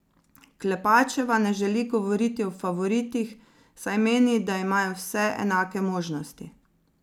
Klepačeva ne želi govoriti o favoritih, saj meni, da imajo vse enake možnosti.